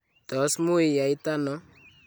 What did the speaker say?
tos mui yaitano?